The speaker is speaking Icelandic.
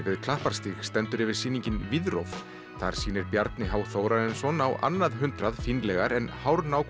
við Klapparstíg stendur yfir sýningin þar sýnir Bjarni h Þórarinsson á annað hundrað fínlegar en